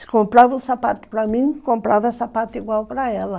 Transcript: Se comprava um sapato para mim, comprava sapato igual para ela.